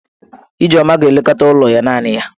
Ijeoma ga-elekọta ụlọ ya naanị ya.